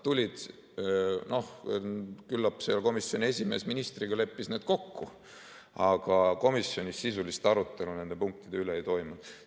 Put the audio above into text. No küllap seal komisjoni esimees ministriga leppis need kokku, aga komisjonis sisulist arutelu nende punktide üle ei toimunud.